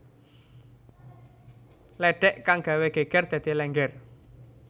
lédhék kang gawé gégér dadi Lénggér